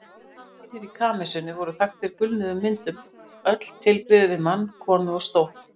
Veggirnir í kamesinu voru þaktir gulnuðum myndum, öll tilbrigði við mann, konu og stól.